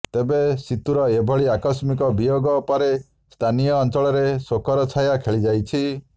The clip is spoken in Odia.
ତେବେ ସିତୁର ଏଭଳି ଆକସ୍ମିକ ବିୟୋଗ ପରେ ସ୍ଥାନୀୟ ଅଞ୍ଚଳରେ ଶୋକର ଛାୟା ଖେଳିଯାଇଛି